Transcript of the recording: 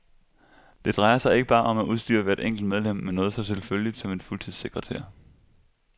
Det drejer sig ikke bare om at udstyre hvert enkelt medlem med noget så selvfølgeligt som en fuldtidssekretær.